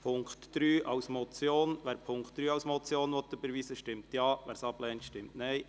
Wer den Punkt 3 als Motion überweisen will stimmt Ja, wer dies ablehnt, stimmt Nein.